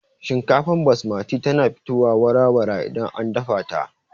Shinkafar basmati tana fitowa wara-wara idan an dafa ta